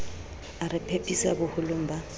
a re phephisa boholong ba